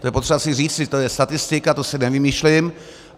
To je potřeba si říct, to je statistika, to si nevymýšlím.